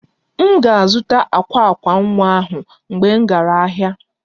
M ga-azụta akwa akwa nwa ahụ mgbe m gara ahịa